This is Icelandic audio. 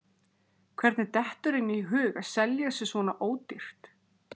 Hvernig dettur henni í hug að selja sig svona ódýrt?